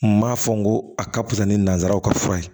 N m'a fɔ n ko a ka fisa ni nanzaraw ka fura ye